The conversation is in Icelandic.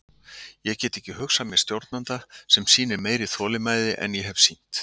Ég get ekki hugsað mér stjórnanda sem sýnir meiri þolinmæði en ég hef sýnt.